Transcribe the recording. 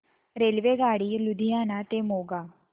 रेल्वेगाडी लुधियाना ते मोगा